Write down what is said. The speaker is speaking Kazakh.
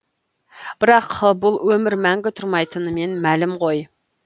бірақ бұл өмір мәңгі тұрмайтынымен мәлім ғой